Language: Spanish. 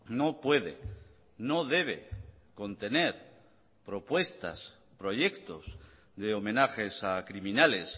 no puede no debe contener propuestas proyectos de homenajes a criminales